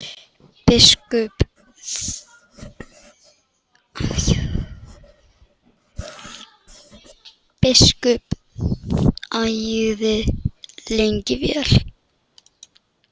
Biskup þagði lengi vel.